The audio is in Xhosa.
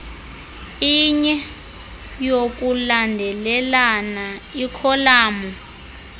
inye yokulandelelana ikholamu